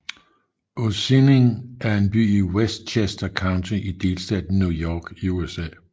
Ossining er en by i Westchester County i delstaten New York i USA